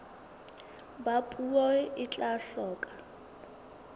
ba puo e tla hloka